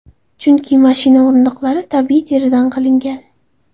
Chunki mashina o‘rindiqlari tabiiy teridan qilingan.